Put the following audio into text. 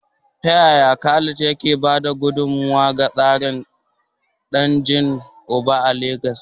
Ta yaya Khalid ke ba da gudummawa ga tsarin dangin uba a Legas?